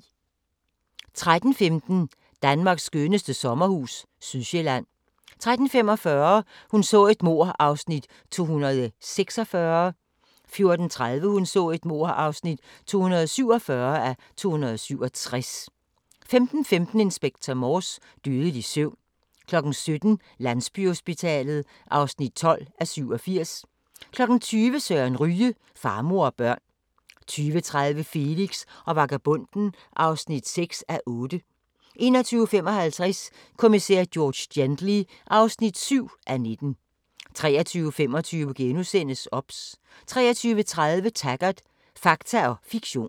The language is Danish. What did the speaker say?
13:15: Danmarks skønneste sommerhus – Sydsjælland 13:45: Hun så et mord (246:267) 14:30: Hun så et mord (247:267) 15:15: Inspector Morse: Dødelig søvn 17:00: Landsbyhospitalet (12:87) 20:00: Søren Ryge: Far, mor og børn 20:30: Felix og vagabonden (6:8) 21:55: Kommissær George Gently (7:19) 23:25: OBS * 23:30: Taggart: Fakta og fiktion